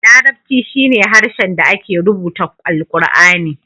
Larabci shine harshen da ake rubuta alqurani.